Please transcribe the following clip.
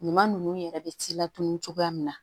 Ɲuman ninnu yɛrɛ bɛ ci latunun cogoya min na